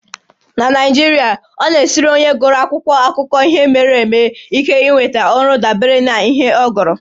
Na Naijiria, ọ na-esiri onye gụrụ akwụkwọ akụkọ ihe mere eme ike inweta ọrụ dabere n'ihe ọ gụrụ